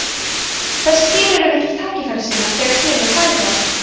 þessi dýr eru miklir tækifærissinnar þegar kemur að fæðuvali